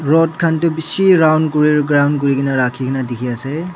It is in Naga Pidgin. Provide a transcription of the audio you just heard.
rod khan tu bishi round kuri kuri kena rakhi kena dikhi ase.